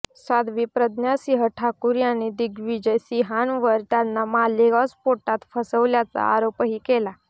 साध्वी प्रज्ञा सिंह ठाकूर यांनी दिग्विजय सिंहांवर त्यांना मालेगाव स्फोटात फसवल्याचा आरोपही केला